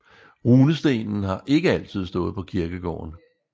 Runestenen har ikke altid stået på kirkegården